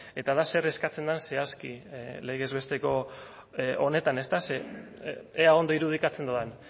eta da zer eskatzen den zehazki legez besteko honetan ezta ea ondo irudikatzen dudan